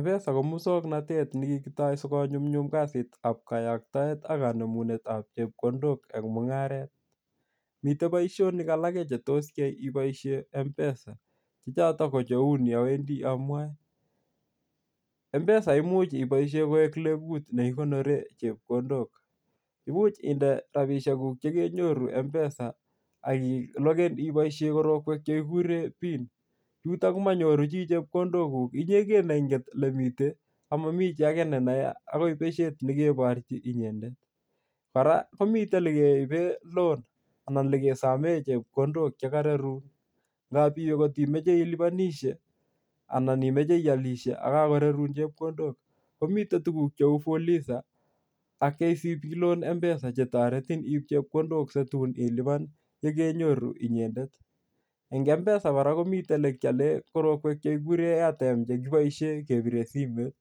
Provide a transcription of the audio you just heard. Mpesa ko muswoknatet nekikitau sikonyumnyum kasitab kayoktaet ak nemunetab chepkondok eng mungaret. Miten boisionik alage che tos yai iboisien mpesa. Che choton ko cheu ni awendi amwae. Mpesa koimuch iboisien koek lengut nekikonoren chepkondok. Imuch inde rapisiekuk chekenyoru mpesa ak iloken iboisie korokwek che kikure pin, yutok yu komanyoru chi chepkondokguk inyegen neinget olemite amami chi age ne nae agoi besiet ne keborchi inyendet. Kora komite ilekeibe lon anan olekesomen chepkondok chekararun. Ngab iwe kotimoche ilubanisie anan imoche ialisie ago kakorarun chepkondok, komite tuguk cheu fulisa ak KCB loan mpesa che toretin iip chepkondok situn iluban yekenyoru inyendet. Eng mpesa kora komi elekialen korokwek chekikuren airtime che kiboisien kebire simoit.